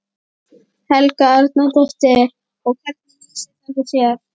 Helga Arnardóttir: Og hvernig lýsir þetta sér?